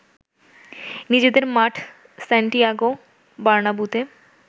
নিজেদের মাঠ সান্টিয়াগো বার্নাব্যুতে